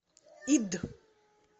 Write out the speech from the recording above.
ид